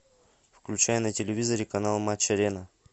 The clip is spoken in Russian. включай на телевизоре канал матч арена